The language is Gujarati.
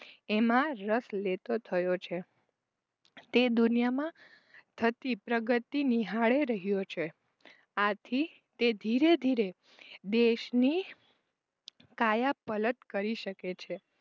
એમાં રસ લેતો થયો છે. તે દુનિયામાં થતી પ્રગતિ નિહાળી રહ્યો છે આથી તે ધીરે ધીરે દેશની કાયા પલત કરી શકે છે.